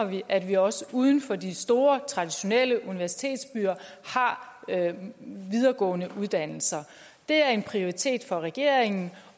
at vi også uden for de store traditionelle universitetsbyer har videregående uddannelser det er en prioritet for regeringen